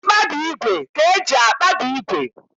Mkpabi ígwè ka eji akpabi ígwè